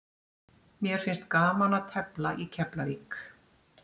Mér finnst gaman að tefla í Keflavík.